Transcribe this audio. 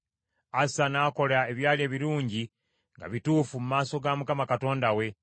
Asa n’akola ebyali ebirungi nga bituufu mu maaso ga Mukama Katonda we.